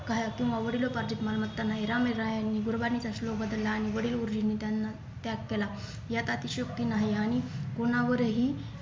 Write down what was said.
काय वडिलोपार्जित मालमत्ता नाही रामराय यांनी बदलला आणि वडील गुरुजींनी त्यांना त्याग केला यात अतिशयोक्ती नाही आणि कोणावरही